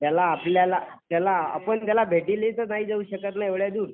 त्याला आपल्याला आपण त्याला भेटीला तर नाही जाऊ शकत ना एवढ्या दूर.